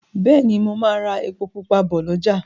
Béèni mo má rà èpo pupa bó l'ọja.